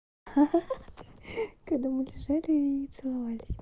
ха-ха когда мы лежали и целовались